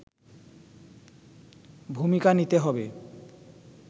ভূমিকা নিতে হবে